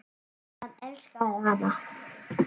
Og hann elskaði hana.